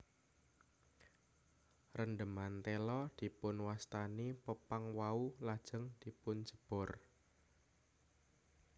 Rendheman téla dipunwastani pepang wau lajeng dipunjébor